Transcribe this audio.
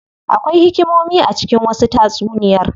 Akwai hikimomi a cikin wasu tatsuniyar.